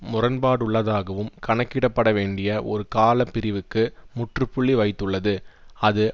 முரண்பாடுள்ளதாகவும் கணக்கிடப்பட வேண்டிய ஒரு கால பிரிவுக்கு முற்றுப்புள்ளி வைத்துள்ளது அது